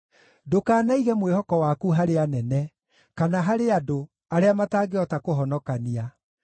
Ndũkanaige mwĩhoko waku harĩ anene, kana harĩ andũ, arĩa matangĩhota kũhonokania.